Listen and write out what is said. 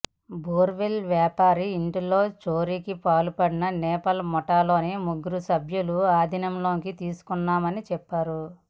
borewell వ్యాపారి ఇంట్లో చోరీకి పాల్పడిన నేపాల్ ముఠాలోని ముగ్గురు సభ్యులను ఆదీనంలోకి తీసుకున్నామని చెప్పారు